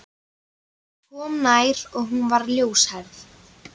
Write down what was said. Ég kom nær og hún var ljóshærð.